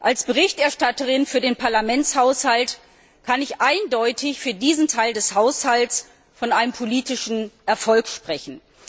Als Berichterstatterin für den Parlamentshaushalt kann ich eindeutig für diesen Teil des Haushalts von einem politischen Erfolg sprechen.